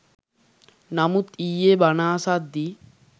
නමුත් ඊයෙ බණ අසද්දී